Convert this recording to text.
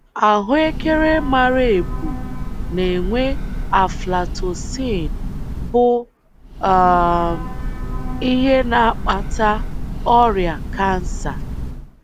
Ahụekere mara ebu na-enwe aflatoxin, bụ um ihe na-akpata ọrịa kansa.